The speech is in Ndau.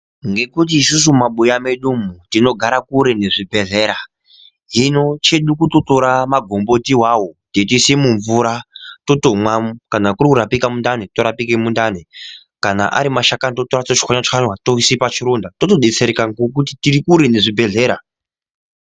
Ngekuti isusu mu mabuya medu umu tinogara kure ne zvibhedhlera hino chedu kuto tora magomboti iwawo teito ise mu mvura totomwa kana kuri kurapika mundani to rapike mundani kana ari mashakani to tora to chwanya chwanya toise pa chironda toto detsereka ngekuti tiri kure ne zvibhedhlera.